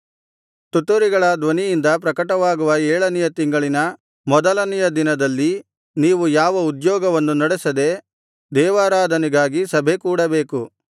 ತುತ್ತೂರಿಗಳ ಧ್ವನಿಯಿಂದ ಪ್ರಕಟವಾಗುವ ಏಳನೆಯ ತಿಂಗಳಿನ ಮೊದಲನೆಯ ದಿನದಲ್ಲಿ ನೀವು ಯಾವ ಉದ್ಯೋಗವನ್ನೂ ನಡೆಸದೆ ದೇವಾರಾಧನೆಗಾಗಿ ಸಭೆಕೂಡಬೇಕು